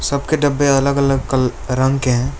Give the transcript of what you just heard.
सबके डब्बे अलग अलग कल रंग के हैं।